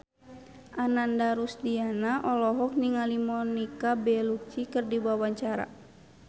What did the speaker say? Ananda Rusdiana olohok ningali Monica Belluci keur diwawancara